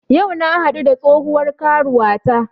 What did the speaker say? Yau na haɗu da tsohuwar karuwata